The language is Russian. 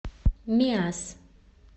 миасс